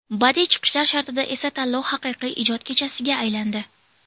Badiiy chiqishlar shartida esa, tanlov haqiqiy ijod kechasiga aylandi.